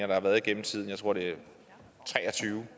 der har været gennem tiden jeg tror det er tre og tyve